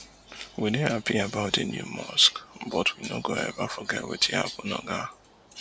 we dey happy about di new mosque but we no go ever forget wetin happun oga